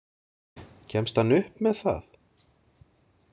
Kemst hann upp með það?